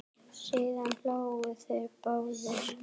Síðan hlógu þeir báðir.